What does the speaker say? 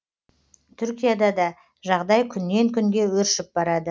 түркияда да жағдай күннен күнге өршіп барады